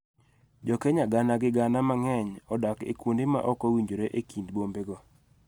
Jo Kenya gana gi gana mang�eny odak e kuonde ma ok owinjore e kind bombego.